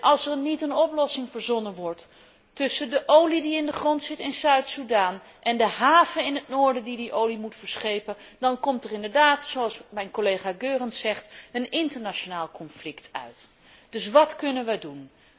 Als er niet een oplossing verzonnen wordt tussen de olie die in de grond zit in Zuid Soedan en de haven in het noorden die deze olie moet verschepen, dan komt er inderdaad, zoals mijn collega Goerens zegt, een internationaal conflict uit. Dus wat kunnen wij doen?